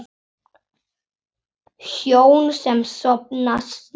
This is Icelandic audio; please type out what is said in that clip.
Hjón sem sofna snemma